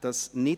Non Enthalten